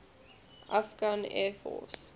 afghan air force